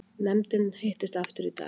Nefndin hittist aftur í dag